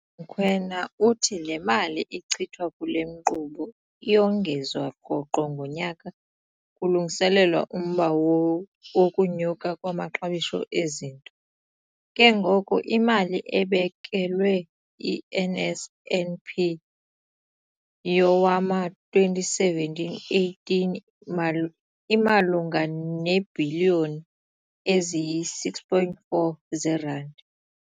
URakwena uthi le mali ichithwa kule nkqubo iyongezwa rhoqo ngonyaka kulungiselelwa umba wokunyuka kwamaxabiso ezinto, ke ngoko imali ebekelwe i-NSNP yowama-2017, 18 imalunga neebhiliyoni eziyi-6.4 zeerandi.